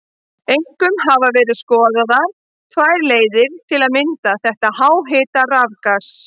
Einkum hafa verið skoðaðar tvær leiðir til að mynda þetta háhita rafgas.